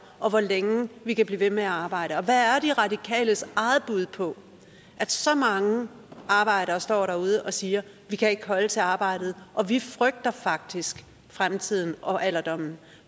og hvor længe vi kan blive ved med at arbejde og hvad er er de radikales eget bud på at så mange arbejdere står derude og siger vi kan ikke holde til arbejdet og vi frygter faktisk fremtiden og alderdommen